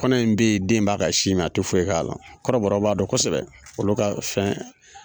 Kɔnɔ in be yen den b'a ka sin mi a te foyi k'a la kɔrɔbɔrɔw b'a dɔn kosɛbɛ olu ka fɛn